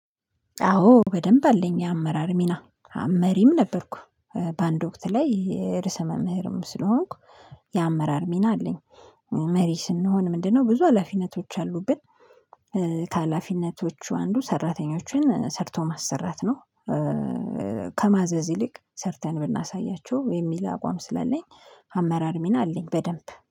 አዎ በደንብ አለኝ የአመራር ሚና መሪም ነበርኩ። በአንድ ወቅት ላይ የርዕሰ መምህርም ስለሆንኩ። የአመራር ሚና አለኝ። መሪ ስንሆን ምንድነው? ብዙ ሀላፊነቶች አሉብን። ከሀላፊነቶቹ አንዱ ሰራተኞችን ሰርቶ ማሰራት ነው። ከማዘዝ ይልቅ ሰርተን ብናሳያችሁ የሚል አቋም ስላለኝ አመራር ሚና አለኝ በደንብ